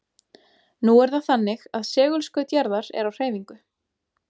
Nú er það þannig að segulskaut jarðar er á hreyfingu.